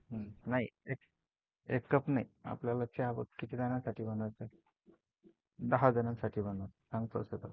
नाही एक कप नाही, आपल्याला चहा बघ किती जणांसाठी बनवायचं? दहा जणांसाठी बनवायचं सांग प्रोसेस